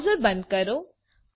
browser બંધ કરો